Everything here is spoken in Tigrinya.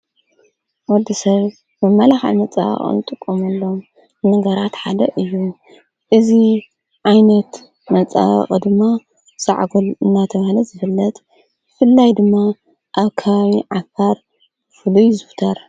ወዲ ሰብ ብመልሕ መፃ ቕልጡቆምሎም ነገራት ሓደ እዩ እዙ ዓይነት መፃ ቕድማ ፃዕጕል እናተውሃለት ዘፍለት ፍላይ ድማ ኣብ ካም ዓፋር ፍሉ ይ ይዝውተር ::